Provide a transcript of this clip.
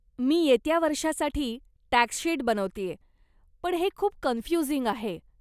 मी येत्या वर्षासाठी tax sheet बनवतेय, पण हे खूप कन्फ्युजिंग आहे.